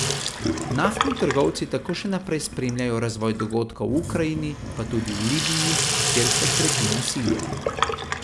Naftni trgovci tako še naprej spremljajo razvoj dogodkov v Ukrajini, pa tudi v Libiji, kjer se krepi nasilje.